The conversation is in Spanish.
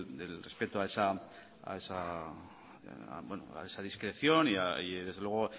del respeto a esa discreción y desde luego